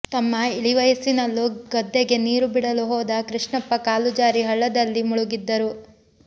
ತಮ್ಮ ಇಳಿವಯಸ್ಸಿನಲ್ಲೂ ಗದ್ದೆಗೆ ನೀರು ಬಿಡಲು ಹೋದ ಕೃಷ್ಣಪ್ಪ ಕಾಲು ಜಾರಿ ಹಳ್ಳದಲ್ಲಿ ಮುಳುಗಿದ್ದರು